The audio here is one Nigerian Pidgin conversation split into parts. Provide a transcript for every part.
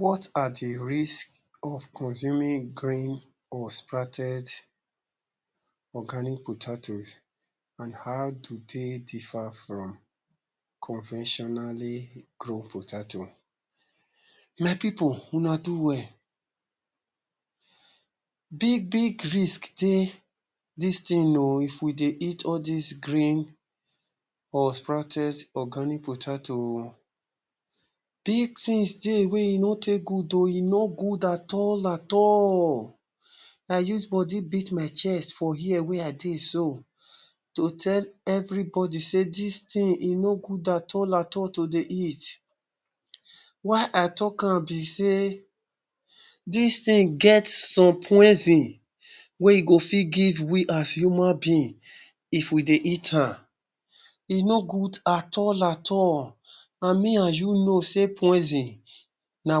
What are dey risks of consuming green or sprouted organic potatoes and how do dey differ from conventionally grown potatoe? My pipul una do well, big big risk dey dis thing oo if we dey eat all dis green or sprouted organic potatoe Big things dey e no take good oo, e no good at all at all i use body beat my chest for here wey i dey so to tell everybody say dis thing e no good at all at all to dey eat. why i talk am be sey dis thing get some poison wey go fit give we as human being if we dey eat am,e no good at all at all and me and you know sey poison na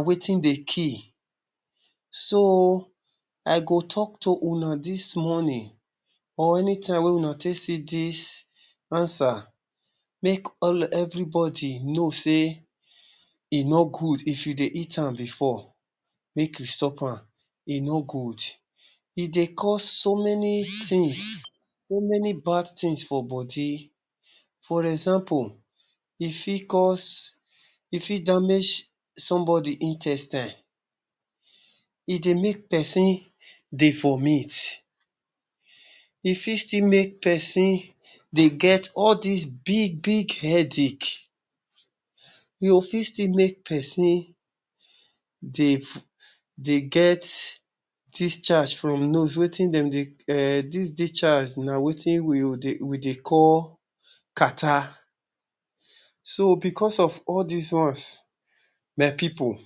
wetin dey kill. So i go talk to una dis morning or anytime wey una take see dis answer make everybody know sey e no good if you dey eat am before make you stop am e no good. E dey cause so many things so many bad things for body for example, e fit cause e fit damage somebody intestine, e dey make pesin dey vomit e fit still make pesin dey get all dis big big headache, e go fit still make pesin dey get discharge from nose, wetin dem dey um this discharge na wetin na wetin we dey call catarrah so because of all dis ones my pipul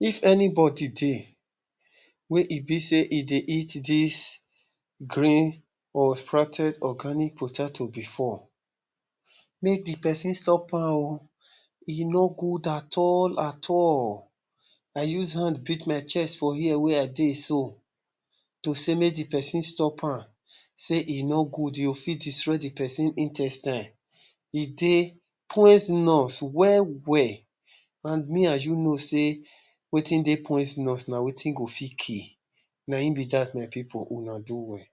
if anybody dey wey e be sey e dey eat dis green or sprouted organic potatoe before make dey pesin stop am oo e no good at all at all, i use hand beat my chest for here wey i dey so to say make dey pesin stop am sey e no good oo e fit destroy dey pesin intestine e dey poisonous well well and me and you know sey wetin dey poisonous na wetin go fit kill na im be that my pipul una do well.